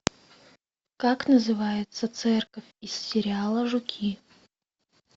как называется церковь из сериала жуки